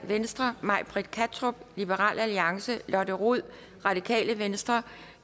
may britt kattrup lotte rod